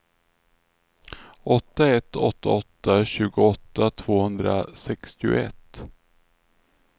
åtta ett åtta åtta tjugoåtta tvåhundrasextioett